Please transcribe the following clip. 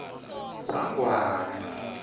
sangwane